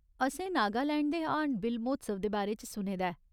असें नागालैंड दे हार्नबिल म्होत्सव दे बारे च सुने दा ऐ।